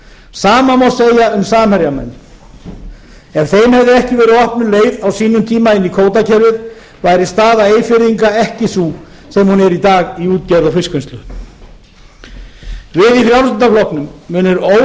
sama má segja um samherjamenn ef þeim hefði ekki verið opnuð leið á sínum tíma inn í kvótakerfið væri staða eyfirðinga ekki sú sem hún er í dag í útgerð og fiskvinnslu við í frjálsl munum óhræddir